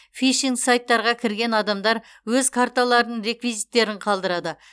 фишинг сайттарға кірген адамдар өз карталарының реквизиттерін қалдырады